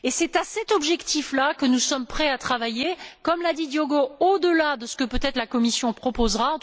C'est à cet objectif là que nous sommes prêts à travailler, comme l'a dit Diogo Feio, au delà peut être de ce que la Commission proposera.